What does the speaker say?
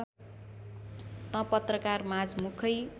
त पत्रकारमाझ मुखै